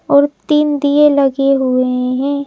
और तीन दिए लगे हुए हैं।